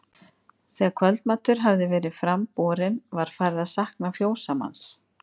Þegar kvöldmatur hafði verið fram borinn var farið að sakna fjósamanns.